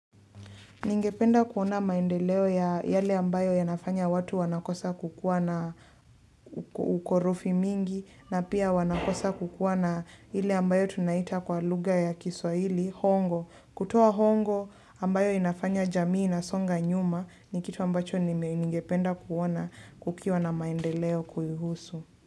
Ningependa kuona maendeleo ya yale ambayo yanafanya watu wanakosa kukuwa na ukorofi mingi na pia wanakosa kukuwa na hile ambayo tunaita kwa lugha ya kiswahili, hongo. Kutoa hongo ambayo inafanya jamii inasonga nyuma ni kitu ambacho ningependa kuona ukiwa na maendeleo kuihusu.